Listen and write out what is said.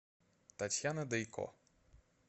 татьяна дейко